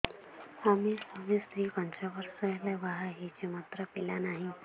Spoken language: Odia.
ଆମେ ସ୍ୱାମୀ ସ୍ତ୍ରୀ ପାଞ୍ଚ ବର୍ଷ ହେଲା ବାହା ହେଇଛୁ ମାତ୍ର ପିଲା ନାହିଁ